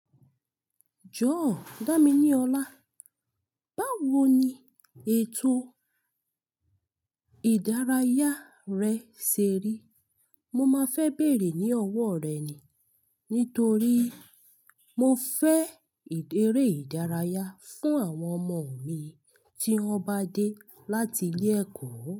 Jọ̀wọ́ dami ní ọ̀la. Báwo ni ètò ìdárayá rẹ ṣe rí? Mo máa fẹ bèèrè ní ọwọ rẹ ni. Nítorí mo fẹ́ eré ìdárayá fún àwọn ọmọ mi tí wọ́n bá dé láti ilé ẹ̀kọ́.